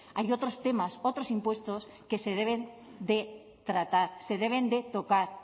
hay otros temas otros impuestos que se deben de tratar se deben de tocar